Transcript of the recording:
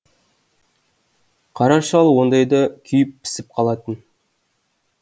қара шал ондайда күйіп пісіп қалатын